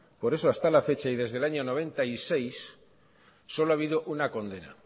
por eso hasta la fecha y desde el año mil novecientos noventa y seis solo ha habido una condena